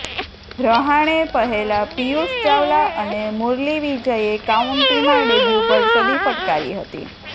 રહાણે પહેલા પિયુષ ચાવલા અને મુરલી વિજયે કાઉન્ટીમાં ડેબ્યુ પર સદી ફટકારી હતી